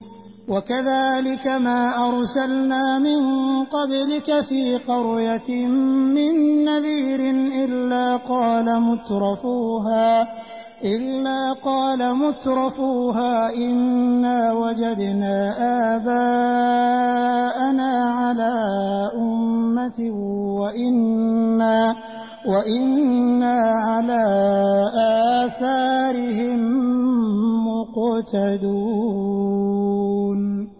وَكَذَٰلِكَ مَا أَرْسَلْنَا مِن قَبْلِكَ فِي قَرْيَةٍ مِّن نَّذِيرٍ إِلَّا قَالَ مُتْرَفُوهَا إِنَّا وَجَدْنَا آبَاءَنَا عَلَىٰ أُمَّةٍ وَإِنَّا عَلَىٰ آثَارِهِم مُّقْتَدُونَ